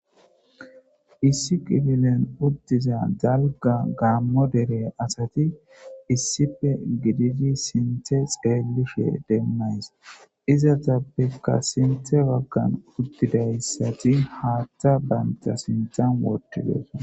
Issi kiffilen uttiza dalgga gammo dere asati issippe gididi sinththe xellishe denaysa izzetappeka sinththe baggan uttidaysati haththa banta sinththan wottidosona.